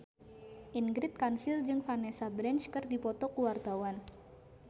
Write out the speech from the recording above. Ingrid Kansil jeung Vanessa Branch keur dipoto ku wartawan